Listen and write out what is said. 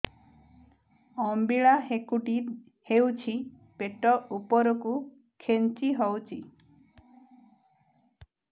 ଅମ୍ବିଳା ହେକୁଟୀ ହେଉଛି ପେଟ ଉପରକୁ ଖେଞ୍ଚି ହଉଚି